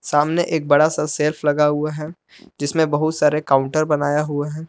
सामने एक बड़ा सा सेल्फ लगा हुआ है जिसमें बहुत सारे काउंटर बनाया हुआ है।